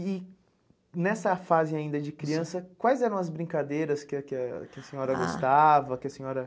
E nessa fase ainda de criança, quais eram as brincadeiras que a que a que a senhora gostava? Que a senhora